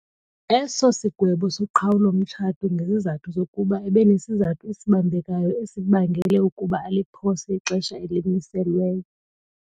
eso sigwebo soqhawulo-mtshato ngezizathu zokuba ebenesizathu esibambekayo esibangele ukuba aliphose ixesha elimiselweyo.